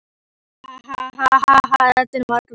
Rödd Margrétar varð fljótlega að fjarlægu suði í eyrum Stjána.